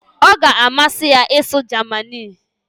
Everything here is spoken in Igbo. ọ ga-amasị ya ịsụ Germani